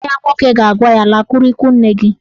Nwanne ya nwoke ga-agwa ya "Lakwuru ikwu nne gị!